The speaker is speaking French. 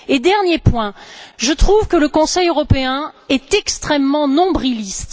Et dernier point je trouve que le Conseil européen est extrêmement nombriliste.